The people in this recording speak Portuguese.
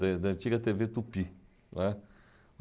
da da antiga tê vê Tupi, né.